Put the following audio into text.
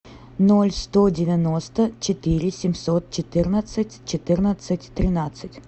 ноль сто девяносто четыре семьсот четырнадцать четырнадцать тринадцать